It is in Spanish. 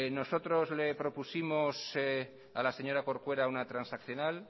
nosotros le propusimos a la señora corcuera una transaccional